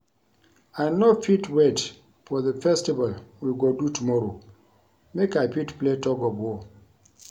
I no fit wait for the festival we go do tomorrow make I fit play tug of war